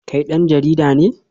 Kai dan jarida ne?